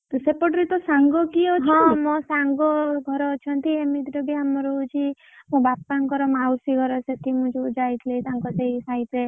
ସେପଟ ରୁ ତୋ କିଏ ସାଙ୍ଗ କିଏ ଅଛି